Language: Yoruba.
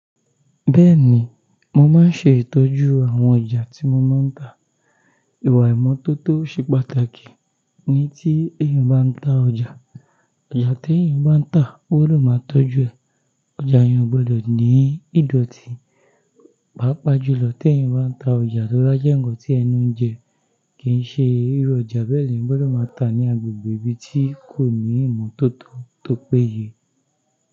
Bẹ́ẹ̀ni, mo máa ń ṣe ìtọ́jú àwọn ọjà tí mo máa ń tà. Ìwà ìmọ́tótó ṣe pàtàkì ní tí èèyàn bá ń ta ọjà. Ọjà tí èèyàn bá ń tà, ó gbọdọ̀ máa tọ́jú ẹ̀. Ọjà yẹn o gbọdọ̀ ní ìdọ̀tí. Pápa jùlọ tèèyàn bá ń ta ọjà tó bájẹ́ ńǹkan tí ẹnu ń jẹ kì í ṣe irú ọjà bẹ́ẹ̀ ni eeeyan gbọdọ̀ máa tà ní agbègbè ibi tí kò ní ìmọ́tótó tó péye.